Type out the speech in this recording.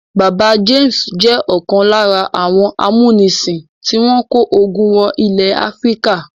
Bàbá James jẹ́ ọ̀kan lára àwọn amúnisìn tí wọ́n kó ogun wọ ilẹ̀ Áfíríkà.